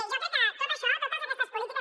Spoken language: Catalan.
jo crec que tot això totes aquestes polítiques